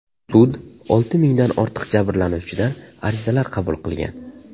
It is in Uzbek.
Sud olti mingdan ortiq jabrlanuvchidan arizalar qabul qilgan.